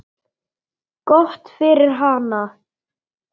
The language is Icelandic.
Gott fyrir hana.